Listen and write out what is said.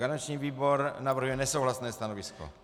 Garanční výbor navrhuje nesouhlasné stanovisko.